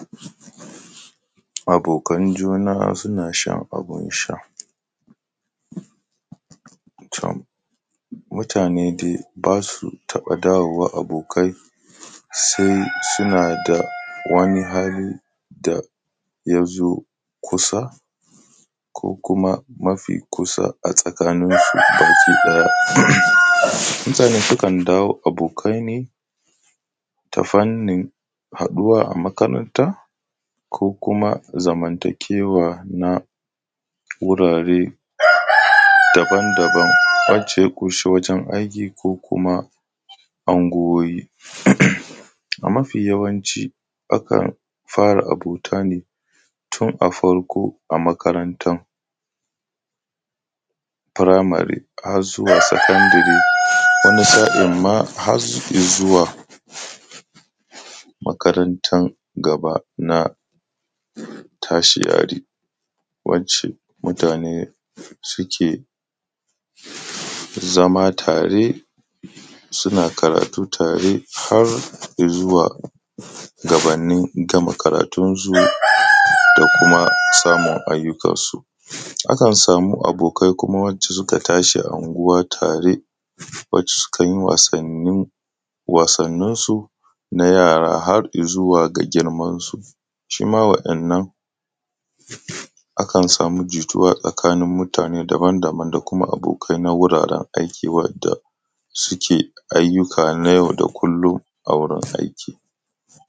Abokanan juna suna shan abin sha. To, mutane dai ba su taɓa dawowa abokai sai suna da wani hali da ya zo kusa ko kuma mafi kusa a tsakaninsu baki ɗaya. Mutane sukan dawo abokai ne, ta fannin haɗuwa a makaranta ko kuma zamantakewa na wurare daban daban wacce ya ƙunshi wajen aiki ko kuma anguwoyi. A mafi yawanci akan fara abota ne tun a farko a makarantan primary har zuwa secondary, wani sa’in ma har i zuwa makarantan gaba na tertiary wacce mutane ke zama tare suna karatu tare har i zuwa gabannin gama karatunsu da kuma samun ayyukansu. Akan samu abokai kuma wacce suka tashi a anguwa tare wacce sukan yi wasannin, wasanninsu na yara har i zuwa ga girmansu. Shi ma waɗannan akan samu jituwa tsakanin mutane daban daban da kuma abokai na wuraren aiki wadda suke ayyuka nay au da kullum a wurin aiki.